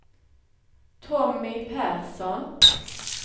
Tommy Persson